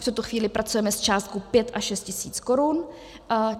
V tuto chvíli pracujeme s částkou 5 až 6 tisíc korun.